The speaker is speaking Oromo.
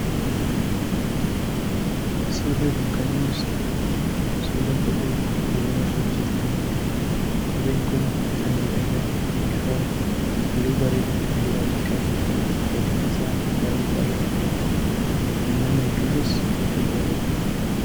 Suurri kun kan inni ibsu suura kophee gogaa irraa hojjetameeti. Kopheen kun bifa miidhagaa, ifaa, halluu bareedaan kan dibame qabuu fi gatiin isaa bayaa'ee qaala'aa ta'edha. Uummatni hedduunis bituu jaalatu.